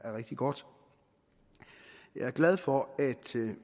er rigtig godt jeg er glad for at